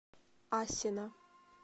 асино